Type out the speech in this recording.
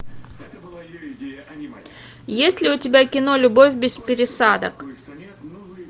есть ли у тебя кино любовь без пересадок